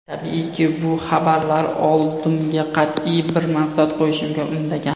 Tabiiyki, bu xabarlar oldimga qat’iy bir maqsad qo‘yishimga undagan.